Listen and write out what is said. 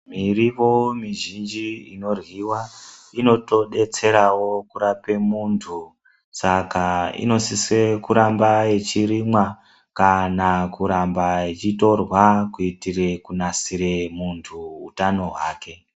Mirivo mizhinji ino ryiwa inoto detserawo kurape muntu saka ino sise kuramba ichi rimwa kana kuramba ichi torwa kuitire ku nasire muntu utano hwake.